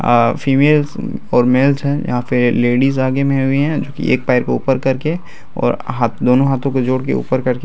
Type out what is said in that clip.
आ females और males हैं | यहाँ पे लेडीज आगे में हुईहै जोकि एक पैर को ऊपर करके और हा दोनों हाथों को जोड़कर ऊपर करके --